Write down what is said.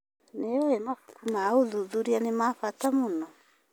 Nĩ ũĩ mabuku ma ũthuthuria nĩ ma bata mũno?